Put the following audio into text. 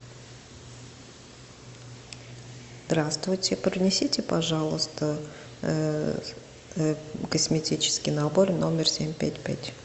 здравствуйте принесите пожалуйста косметический набор номер семь пять пять